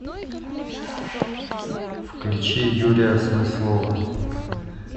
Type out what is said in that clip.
включи юрия смыслова